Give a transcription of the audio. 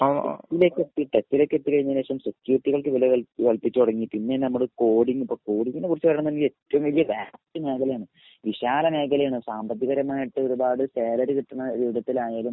ഏഹ് ലേക്ക് എത്തി ലേക്ക് എത്തി കഴിഞ്ഞതിനു ശേഷം സെക്യൂരിറ്റികൾക്ക് വില കൽ വില കല്പ്പിച്ചു തുടങ്ങി. പിന്നേന്ന് പറഞ്ഞാ കോഡിങ് ഇപ്പൊ കോഡിങ്ങിനെ കുറിച് കാര്യം പറഞ്ഞ ഏറ്റവും വലിയ മേഘലേണ് വിശാല മേഘലേണ്. സാമ്പത്തിക പരമായിട്ട് ഒരുപാട് സാലറി കിട്ടിണ രൂപത്തിലായാലും .